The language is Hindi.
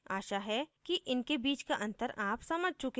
आशा है कि इनके बीच का अंतर आप समझ चुकें होंगे